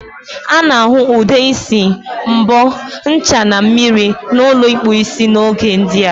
A na-ahu Ude isi, mbo, ncha na mmiri na ulo ikpu isi n'oge ndia.